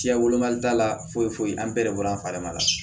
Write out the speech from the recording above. Siya wolomali t'a la foyi foyi foyi an bɛɛ de bɔra an fari ma